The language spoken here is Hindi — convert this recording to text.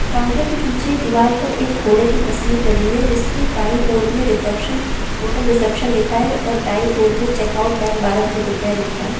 काउंटर के पीछे दीवाल पर एक घोड़े की तस्वीर लगी है जिसके बाई और में रिसेप्शन होटल रिसेप्शन लिखा है और दाई ओर में चेक आउट टाइम बारह बजे दोपहर लिखा है।